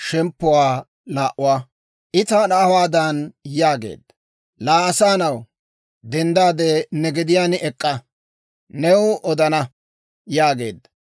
I taana hawaadan yaageedda; «Laa asaa na'aw, denddaade ne gediyaan ek'k'a. New odana» yaageedda.